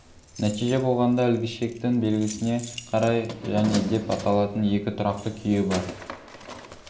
нәтиже болғанда ілгішектің белгісіне қарай және деп аталатын екі тұрақты күйі бар